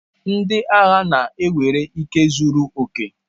Ndị agha na-ewere ike zuru oke.